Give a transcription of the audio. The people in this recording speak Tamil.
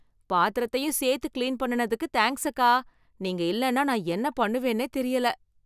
பாத்திரத்தையும் சேர்த்து கிளீன் பண்ணுனதுக்கு தேங்க்ஸ், அக்கா. நீங்க இல்லைனா நான் என்ன பண்ணுவேன்னே தெரியல.